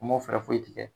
U ma fɛɛrɛ foyi tigɛ